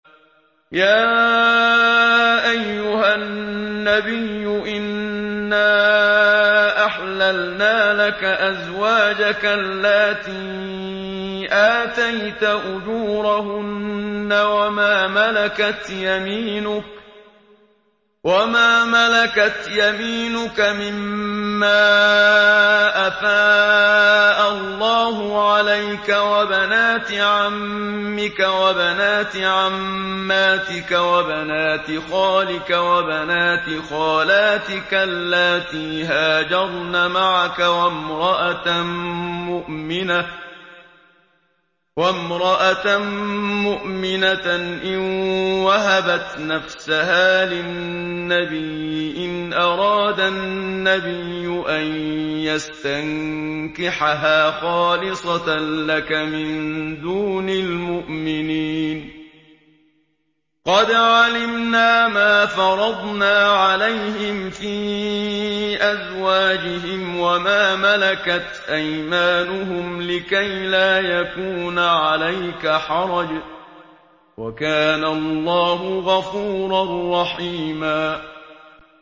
يَا أَيُّهَا النَّبِيُّ إِنَّا أَحْلَلْنَا لَكَ أَزْوَاجَكَ اللَّاتِي آتَيْتَ أُجُورَهُنَّ وَمَا مَلَكَتْ يَمِينُكَ مِمَّا أَفَاءَ اللَّهُ عَلَيْكَ وَبَنَاتِ عَمِّكَ وَبَنَاتِ عَمَّاتِكَ وَبَنَاتِ خَالِكَ وَبَنَاتِ خَالَاتِكَ اللَّاتِي هَاجَرْنَ مَعَكَ وَامْرَأَةً مُّؤْمِنَةً إِن وَهَبَتْ نَفْسَهَا لِلنَّبِيِّ إِنْ أَرَادَ النَّبِيُّ أَن يَسْتَنكِحَهَا خَالِصَةً لَّكَ مِن دُونِ الْمُؤْمِنِينَ ۗ قَدْ عَلِمْنَا مَا فَرَضْنَا عَلَيْهِمْ فِي أَزْوَاجِهِمْ وَمَا مَلَكَتْ أَيْمَانُهُمْ لِكَيْلَا يَكُونَ عَلَيْكَ حَرَجٌ ۗ وَكَانَ اللَّهُ غَفُورًا رَّحِيمًا